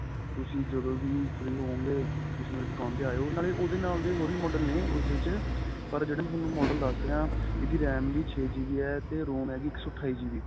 ਤੁਸੀਂ ਜਦੋ ਵੀ free ਹੋਵੋਗੇ ਤੁਸੀਂ ਮੇਰੀ ਦੁਕਾਨ ਤੇ ਆਇਉ ਨਾਲੇ ਉਹਦੇ ਨਾਲ ਦੇ ਹੋਰ ਵੀ model ਨੇ ਉਸ ਵਿੱਚ ਪਰ ਜਿਹੜੇ ਮੈਂ ਤੁਹਾਨੂੰ model ਦਸ ਰਿਹਾ ਇਹਦੀ RAMਵੀ ਛੇ GB ਏ ਤੇ ROM ਹੈਗੀ ਇੱਕ ਸੋ ਅਠਾਈ GB